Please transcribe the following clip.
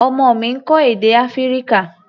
Ọmọ mi ń kọ́ èdè Áfíríkà.